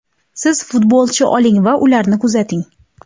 Siz futbolchi oling va ularni kuzating.